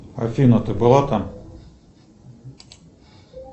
афина ты была там